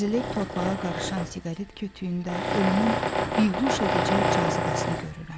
Əzilib torpağa qarışan siqaret kötüyündə ölümün bihuş edici cazibəsini görürəm.